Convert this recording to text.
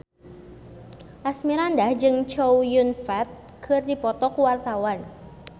Asmirandah jeung Chow Yun Fat keur dipoto ku wartawan